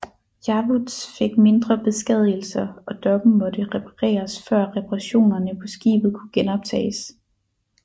Yavuz fik mindre beskadigelser og dokken måtte repareres før reparationerne på skibet kunne genoptages